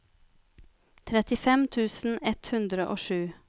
trettifem tusen ett hundre og sju